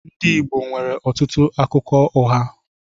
Ndị Igbo nwere ọtụtụ akụkọ ụgha.